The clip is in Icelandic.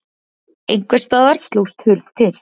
Einhvers staðar slóst hurð til.